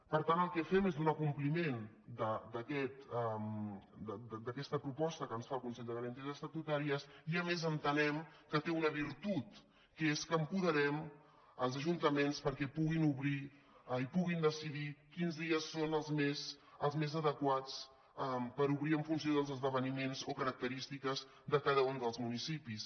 per tant el que fem és donar compliment d’aquesta proposta que ens fa el consell de garanties estatutàries i a més entenem que té una virtut que és que apoderem els ajuntaments perquè puguin decidir quins dies són els més adequats per obrir en funció dels esdeveniments o característiques de cada un dels municipis